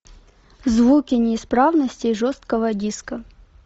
звуки неисправностей жесткого диска